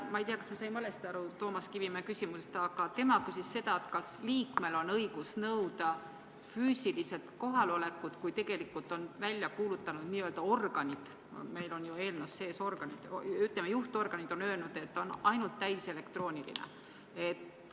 Ma ei tea, kas ma sain valesti aru Toomas Kivimägi küsimusest, aga tema justkui küsis seda, kas liikmel on õigus nõuda füüsiliselt kohalolekut, kui tegelikult on n-ö organid – eelnõus on sees "organid" –, aga, ütleme, kui juhtorganid on öelnud, et on ainult täiselektrooniline koosolek.